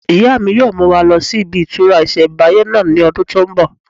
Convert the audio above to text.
Ìyá mi yóò mú wa lọ sí ibi ìtura ìsẹ̀mbáyé náà ní ọdún tó n bọ̀